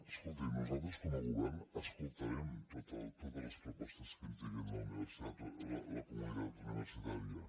escolti nosaltres com a govern escoltarem totes les propostes que ens digui la comunitat universitària